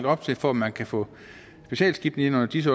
op til for man kan få specialskibene ind under dis